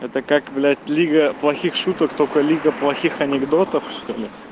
это как блять лига плохих шуток только лига плохих анекдотов что ли